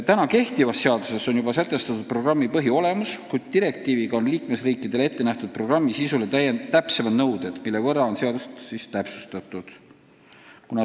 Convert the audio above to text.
Praegu kehtivas seaduses on sätestatud programmi põhiolemus, kuid direktiiv kehtestab liikmesriikide programmi sisule täpsemad nõuded, mille tõttu on vaja seadust täpsustada.